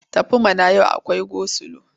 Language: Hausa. Tafi mana! Yau akwai gosilo.